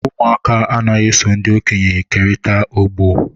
Ụmụaka anaghị eso ndị okenye kerịta ogbo.